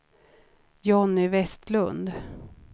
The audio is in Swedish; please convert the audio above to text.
Johnny Westlund